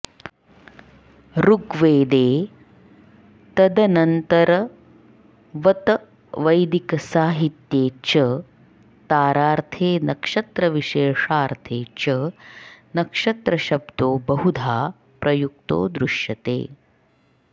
ऋग्वेदे तदनन्तरवतवैदिकसाहित्ये च तारार्थे नक्षत्रविशेषार्थे च नक्षत्रशब्दो बहुधा प्रयुक्तो दृश्यते